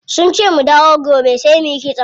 Sunce mu dawo gobe sai muyi kitson.